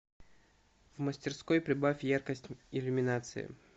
в мастерской прибавь яркость иллюминации